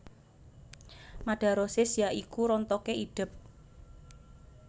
Madarosis ya iku rontoké idep